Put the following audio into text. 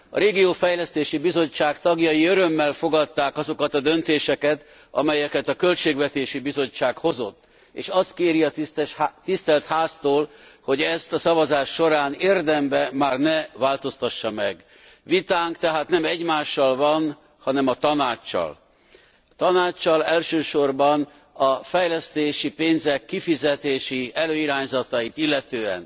A Regionális Fejlesztési Bizottság tagjai örömmel fogadták azokat a döntéseket, amelyeket a Költségvetési Bizottság hozott, és azt kéri a Tisztelt Háztól, hogy ezt a szavazás során érdemben már ne változtassa meg. Vitánk tehát nem egymással van, hanem a Tanáccsal, elsősorban a fejlesztési pénzek kifizetési előirányzatait illetően.